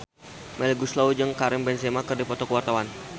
Melly Goeslaw jeung Karim Benzema keur dipoto ku wartawan